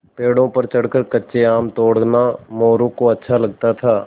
पेड़ों पर चढ़कर कच्चे आम तोड़ना मोरू को अच्छा लगता था